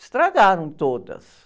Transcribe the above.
Estragaram todas.